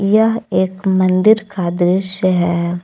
यह एक मंदिर का दृश्य है।